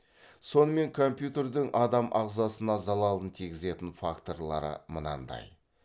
сонымен компьютердің адам ағзасына залалын тигізетін факторлары мынандай